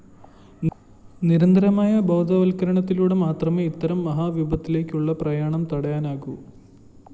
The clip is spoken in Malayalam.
നിരന്തരമായ ബോധവല്‍ക്കരണത്തിലൂടെ മാത്രമേ ഇത്തരം മഹാവിപത്തിലേക്കുള്ള പ്രയാണം തടയാനാകൂ